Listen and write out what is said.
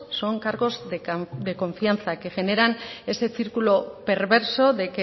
son cargos de confianza que generan ese círculo perverso de